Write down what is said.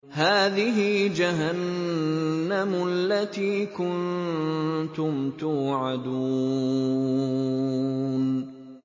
هَٰذِهِ جَهَنَّمُ الَّتِي كُنتُمْ تُوعَدُونَ